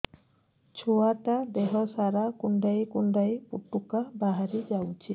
ଛୁଆ ଟା ଦେହ ସାରା କୁଣ୍ଡାଇ କୁଣ୍ଡାଇ ପୁଟୁକା ବାହାରି ଯାଉଛି